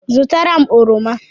zụtara m oroma